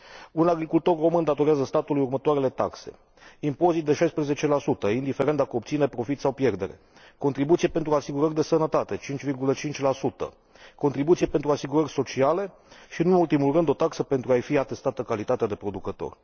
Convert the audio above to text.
Un agricultor român datorează statului următoarele taxe impozit de 16, indiferent dacă obține profit sau pierdere, contribuție pentru asigurări de sănătate 5,5, contribuție pentru asigurări sociale și, nu în ultimul rând, o taxă pentru a i fi atestată calitatea de producător.